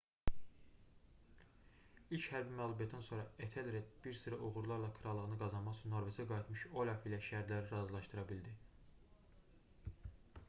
i̇lk hərbi məğlubiyyətdən sonra etelred bir sıra uğurlarla krallığını qazanmaq üçün norveçə qayıtmış olaf ilə şərtləri razılşadıra bildi